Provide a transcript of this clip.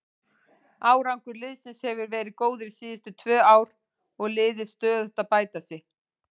Árangur liðsins hefur verið góður síðustu tvö ár og liðið stöðugt að bæta sig.